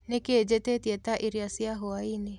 Nĩkĩĩ njĩtĩĩtĩe ta ĩrĩo cĩa hwaĩnĩ